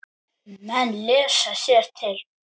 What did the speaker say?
Menn lesa sér til.